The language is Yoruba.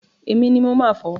Èmi ni mo máa fo.